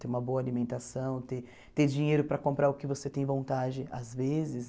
Ter uma boa alimentação, ter ter dinheiro para comprar o que você tem vontade, às vezes.